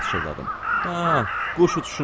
Hə, quş uçuşundan bilinir.